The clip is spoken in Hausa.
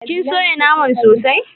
kin soya naman sosai?